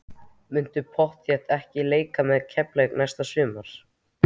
Muntu pottþétt ekki leika með Keflavík næsta sumar?